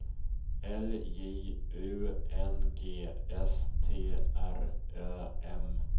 L J U N G S T R Ö M